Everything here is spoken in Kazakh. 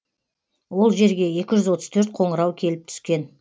ол жерге екі жүз отыз төрт қоңырау келіп түскен